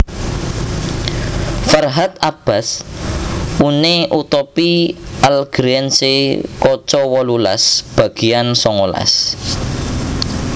Ferhat Abbas Une utopie algérienne kaca wolulas bagéan songolas